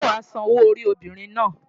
Ǹjẹ́ wàá San owó orí obìnrin náà?